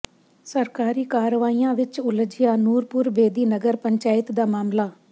ਸਰਕਾਰੀ ਕਾਰਵਾਈਆਂ ਵਿੱਚ ਉਲਝਿਆ ਨੂਰਪੁਰ ਬੇਦੀ ਨਗਰ ਪੰਚਾਇਤ ਦਾ ਮਾਮਲਾ